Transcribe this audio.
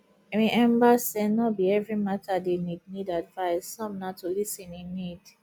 remmba sey no be evri mata dey nid nid advice som na to lis ten e need